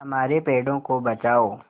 हमारे पेड़ों को बचाओ